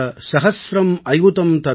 लक्षं च नियुतं चैव कोटि अर्बुदम् एव च ||